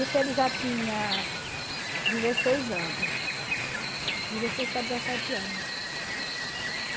Isso ele já tinha dezesseis anos, dezesseis para dezessete anos.